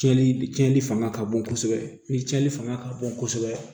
Tiɲɛni tiɲɛni fanga ka bon kosɛbɛ ni tiɲɛni fanga ka bon kosɛbɛ